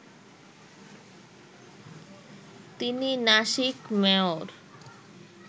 তিনি নাসিক মেয়র